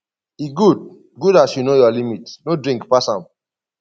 e good good as you know your limit no drink pass am